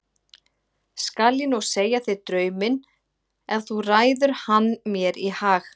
Skal ég nú segja þér draum minn ef þú ræður hann mér í hag.